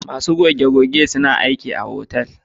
Masu goge- goge ma suna aiki a hotel